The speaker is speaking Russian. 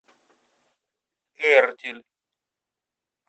эртиль